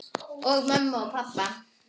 Og mömmu og pabba.